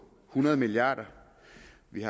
hundrede milliard kr og vi